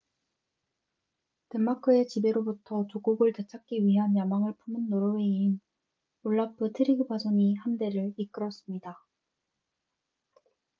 덴마크의 지배로부터 조국을 되찾기 위한 야망을 품은 노르웨이인 올라프 트리그바손이 함대를 이끌었습니다